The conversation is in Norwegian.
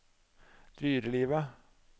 dyrelivet